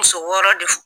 Muso wɔɔrɔ de